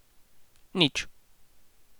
Nič.